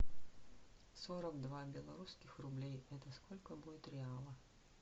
сорок два белорусских рублей это сколько будет реала